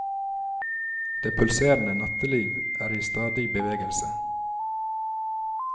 Det pulserende natteliv er i stadig bevegelse.